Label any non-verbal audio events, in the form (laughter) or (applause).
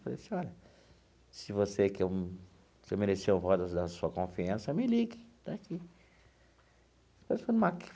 Falei assim, olha, se você quer um se eu mereci o voto da sua confiança, me ligue, está aqui. (unintelligible)